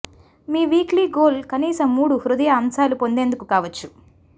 మీ weekly goal కనీస మూడు హృదయ అంశాలు పొందేందుకు కావచ్చు